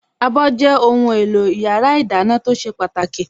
Abọ́ jẹ́ ohùn èlò yàrá ìdáná tó ṣe pàtàkì